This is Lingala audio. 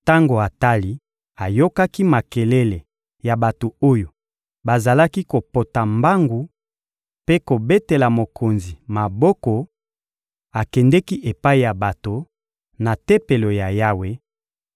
Tango Atali ayokaki makelele ya bato oyo bazalaki kopota mbangu mpe kobetela mokonzi maboko, akendeki epai ya bato, na Tempelo ya Yawe,